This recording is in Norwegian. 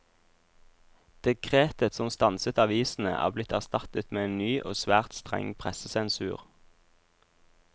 Dekretet som stanset avisene, er blitt erstattet med en ny og svært streng pressesensur.